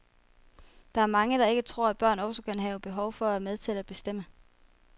Der er mange, der ikke tror, at børn også kan have behov for at være med til at bestemme.